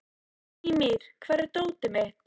Mímir, hvar er dótið mitt?